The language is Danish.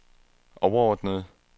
overordnede